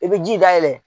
I bɛ ji dayɛlɛ